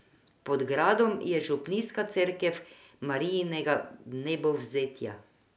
Pod gradom je župnijska cerkev Marijinega vnebovzetja.